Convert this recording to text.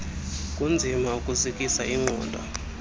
kunzima ukuzikisa ingqondo